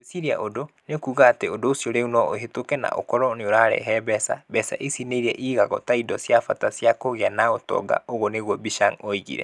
"Gweciria ũndũ, nĩ kuuga atĩ ũndũ ũcio rĩu no ũhĩtũke na ũkorwo nĩ ũrarehe mbeca. Mbeca ici nĩ iria ingĩigwo ta indo cia bata cia kũgĩa na ũtonga''. Oguo nĩguo Bichiang'a oigire.